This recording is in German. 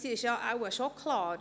Etwas ist wohl schon klar: